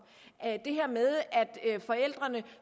at forældrene